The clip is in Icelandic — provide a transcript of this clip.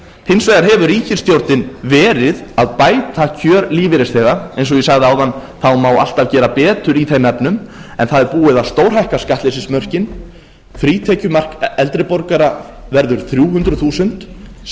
hins vegar hefur ríkisstjórnin verið að bæta kjör lífeyrisþega eins og ég sagði áðan má alltaf gera betur í þeim efnum en það er búið að stórhækka skattleysismörkin frítekjumark eldri borgara verður þrjú hundruð þúsund sem átti ekki